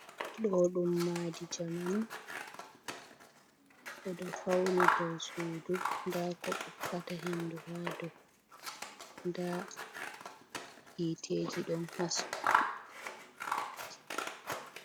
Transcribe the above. Ɗo ɗum madi jamanu ɓeɗo fauni dou sudu nda ko ɓokkata hendu ha dou nda hiteji don haski.